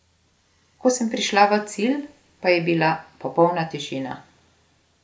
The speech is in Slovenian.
Ko sem prišla v cilj, pa je bila popolna tišina.